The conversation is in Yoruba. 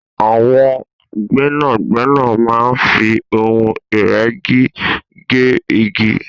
àwọn gbẹ́nàgbẹ́nà máa ń fi ohun ìrẹ́gi gé igi